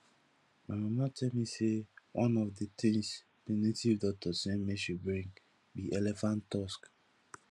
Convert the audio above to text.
my mama tell me say one of the things the native doctor say make she bring be elephant tusk